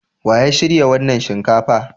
Wa ya shirya wannan shinkafa?